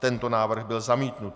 Tento návrh byl zamítnut.